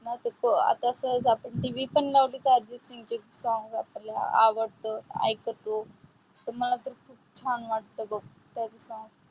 मंग हे TV पण लावली की आपल्याला आवडत. अर्जित सिंग चे songs ऐकतो. मला तर खूप छान वाटतय बघ, त्याचे songs